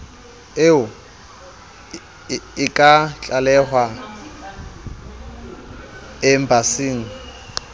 eo e ka tlalehwa embasing